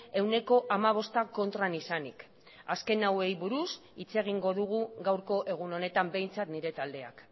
ehuneko hamabosta kontran izanik azken hauei buruz hitz egingo dugu gaurko egun honetan behintzat nire taldeak